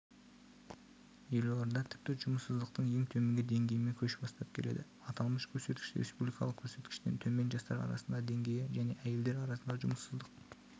елорда тіпті жұмыссыздықтың ең төменгі деңгейімен көш бастап келеді аталмыш көрсеткіш республикалық көрсеткіштен төмен жастар арасындағы деңгейі және әйелдер арасындағы жұмыссыздық